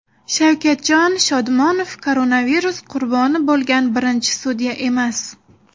Shavkatjon Shodmonov koronavirus qurboni bo‘lgan birinchi sudya emas.